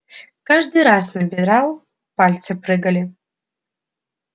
каждый раз набирал пальцы прыгали